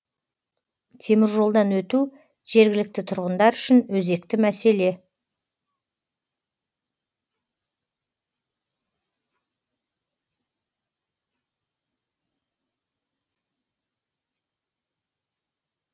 теміржолдан өту жергілікті тұрғындар үшін өзекті мәселе